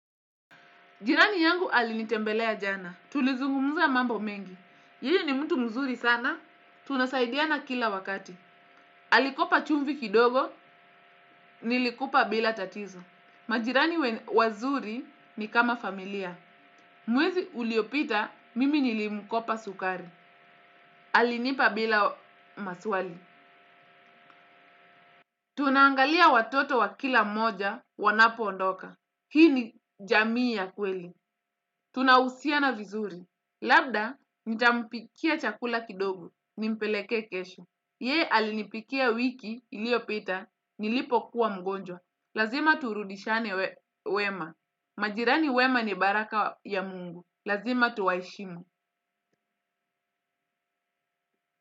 Jirani yangu alinitembelea jana. Tulizungumza mambo mengi. Yeye ni mtu mzuri sana. Tunasaidia na kila wakati. Alikopa chumvi kidogo. Nilikupa bila tatizo. Majirani wazuri ni kama familia. Mwezi uliopita mimi nilimkopa sukari. Alinipa bila maswali. Tunangalia watoto wa kila moja wanapo ondoka. Hii ni jamii ya kweli. Tunahusia na vizuri. Labda, nitampikia chakula kidogo, nimpeleke kesho. Ye alinipikia wiki ilio pita, nilipo kuwa mgonjwa. Lazima turudishane wema. Majirani wema ni baraka ya mungu. Lazima tuwaishimu.